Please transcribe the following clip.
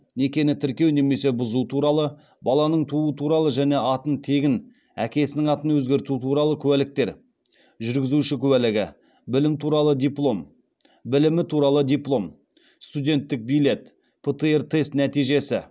некені тіркеу немесе бұзу туралы баланың тууы туралы және атын тегін әкесінің атын өзгерту туралы куәліктер жүргізуші куәлігі білімі туралы диплом студенттік билет птр тест нәтижесі